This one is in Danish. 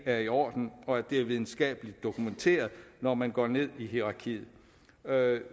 er i orden og at det er videnskabeligt dokumenteret når man går ned i hierarkiet